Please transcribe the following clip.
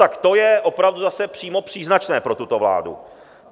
Tak to je opravdu zase přímo příznačné pro tuto vládu.